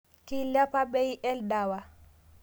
Keiliapa bei eldewa